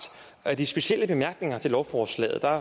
af de specielle bemærkninger til lovforslaget der